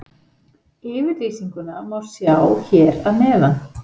Yfirlýsinguna má sjá hér að neðan.